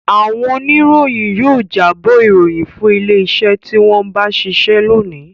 Àwọn oníròyìn yóò jábọ̀ ìròyìn fún ilé-iṣẹ́ tí wọ́n ń bá ṣiṣẹ́ lónìí.